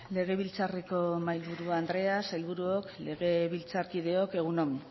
legebiltzarreko mahaiburu andrea sailburuok legebiltzakideok egun on